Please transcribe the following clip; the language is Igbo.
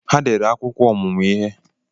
Ha dere akwụkwọ ọmụmụ ihe